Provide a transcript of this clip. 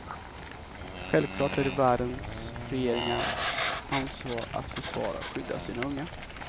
Självklart är det världens regeringars ansvar att försvara och skydda sina unga.